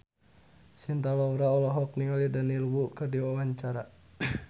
Cinta Laura olohok ningali Daniel Wu keur diwawancara